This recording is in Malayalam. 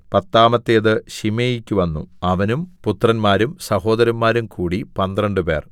പത്താമത്തേത് ശിമെയിക്ക് വന്നു അവനും പുത്രന്മാരും സഹോദരന്മാരും കൂടി പന്ത്രണ്ടുപേർ